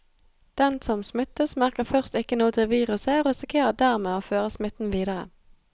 Den som smittes, merker først ikke noe til viruset og risikerer dermed å føre smitten videre.